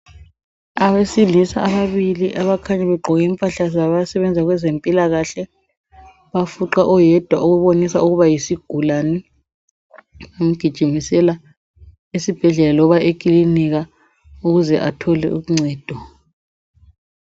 Abesilisa ababili abakhanya beqgoke abakhanya begqoke impahla zabasebenza kwezempilakahle bafuqa oyedwa okubonisa ukuba yisigulani bemgijimisela esibhedlela loba ekilinika ukuze athole uncedo.